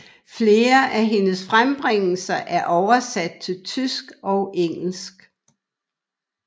Flere af hendes frembringelser er oversatte til tysk og engelsk